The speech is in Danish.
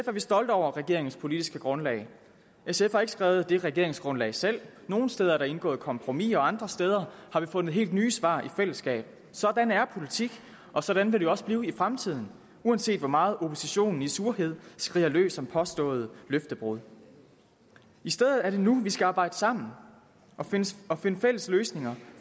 er vi stolte over regeringens politiske grundlag sf har ikke skrevet det regeringsgrundlag selv nogle steder er der indgået kompromiser og andre steder har vi fundet helt nye svar i fællesskab sådan er politik og sådan vil det også blive i fremtiden uanset hvor meget oppositionen i surhed skriger løs om påståede løftebrud i stedet er det nu vi skal arbejde sammen og finde fælles løsninger